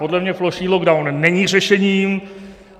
Podle mě plošný lockdown není řešením.